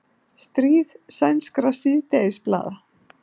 Stríð sænskra síðdegisblaða